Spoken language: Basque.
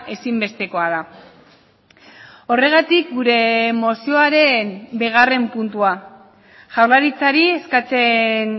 ezinbestekoa da horregatik gure mozioaren bigarren puntua jaurlaritzari eskatzen